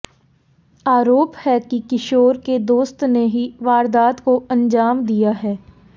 आरोप है कि किशोर के दोस्त ने ही वारदात को अंजाम दिया है